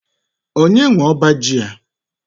Onye nwe ọbá ji a?